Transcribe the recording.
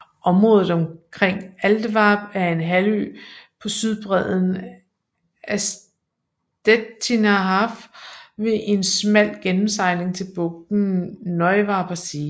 Området omkring Altwarp er en halvø på sydbredden af Stettiner Haff ved en smal gennemsejling til bugten Neuwarper See